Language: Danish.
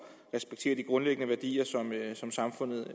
og respektere de grundlæggende værdier som samfundet